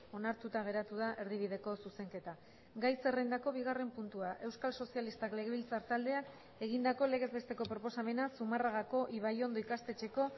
onartuta geratu da erdibideko zuzenketa gai zerrendako bigarren puntua euskal sozialistak legebiltzar taldeak egindako legez besteko proposamena zumarragako ibaiondo ikastetxeko